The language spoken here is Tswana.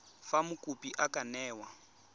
fa mokopi a ka newa